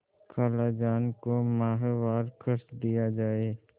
खालाजान को माहवार खर्च दिया जाय